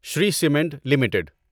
Shri cement limited